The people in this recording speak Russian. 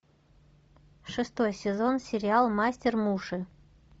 шестой сезон сериал мастер муши